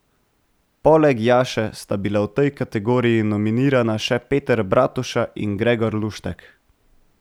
Poleg Jaše sta bila v tej kategoriji nominirana še Peter Bratuša in Gregor Luštek.